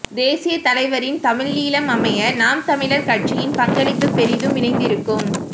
தேசியத் தலைவரின் தமிழீழம் அமைய நாம் தமிழர் கட்சியின் பங்களிப்பு பெரிதும் இணைந்திருக்கும்